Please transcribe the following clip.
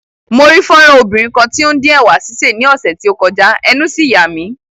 Mo rí fọ́nrán obìnrin kan tí ó ń dín ẹ̀wà sísè ní ọ̀sẹ̀ tí ó kọjá, ẹnu sì yà mí.